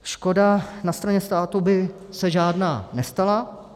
Škoda na straně státu by se žádná nestala.